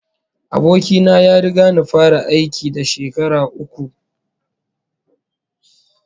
Aboki na ya riga ni fara aiki da shekara uku